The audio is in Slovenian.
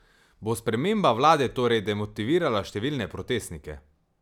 Bo sprememba vlade torej demotivirala številne protestnike?